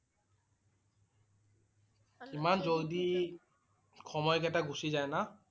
ইমান জল্ডি সময় কেইটা গুচি যায় না?